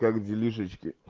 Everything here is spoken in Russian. как делишечки